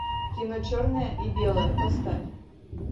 кино черное и белое поставь